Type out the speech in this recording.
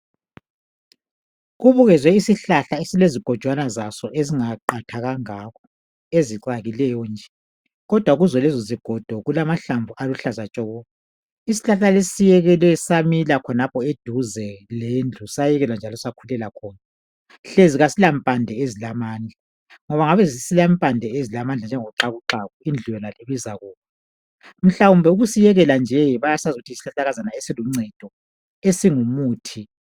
Kubukezwe isihlahla esilezigojwana zaso ezingaqatha kangakho ezicakileyo nje kodwa kuzo lezo zigodo kulamahlamvu aluhlaza tshoko. Isihlahla lesi siyekelwe samila khonapho eduze lendlu sayekelwa njalo sakulela khona. Hlezi asilampande ezilamandla ngoba ngabe silempande ezilamandla njengoxakuxaku indlu yona leyi ibizakuwa. Mhlawumbe ukusiyekela nje bayasazi ukuthi yisihlahlakazana esiluncedo esingumuthi.